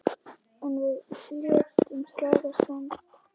En við létum slag standa.